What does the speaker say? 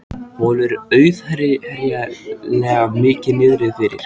Honum er auðheyrilega mikið niðri fyrir.